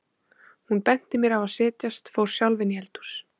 Hún benti mér á að setjast, fór sjálf inn í eldhús.